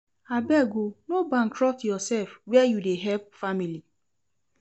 Abeg o, no bankrupt yoursef where you dey help family.